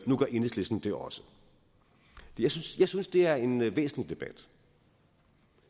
nu gør enhedslisten det også jeg synes jeg synes det er en væsentlig debat